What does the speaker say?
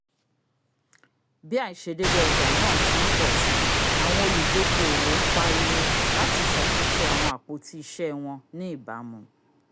bi aisedeede ọja naa ti n pọ si awọn oludokoowo n pariwo lati ṣatunṣe awọn apo-iṣẹ wọn ni ibamu